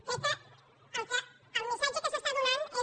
crec que el missatge que s’està donant és